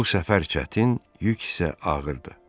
Bu səfər çətin, yük isə ağırdı.